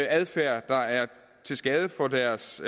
adfærd der er til skade for deres